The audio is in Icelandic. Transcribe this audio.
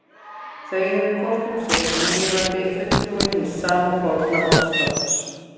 Þau eru hvort um sig núlifandi fulltrúi hins sama forna orðstofns.